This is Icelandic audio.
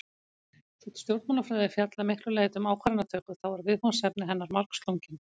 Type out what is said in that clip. Þótt stjórnmálafræði fjalli að miklu leyti um ákvarðanatöku þá eru viðfangsefni hennar margslungin.